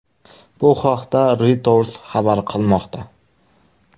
Bu haqda Reuters xabar qilmoqda .